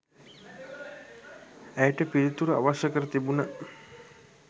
ඇයට පිළිතුරු අවශ්‍ය කර තිබුණ